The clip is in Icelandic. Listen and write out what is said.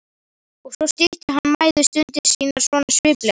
Og svo stytti hann mæðustundir sínar svona sviplega.